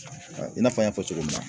I n'a fɔ n y'a fɔ cogo min na